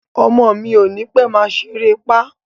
Ọmọ mi ò ní pẹ́ máa ṣeré pá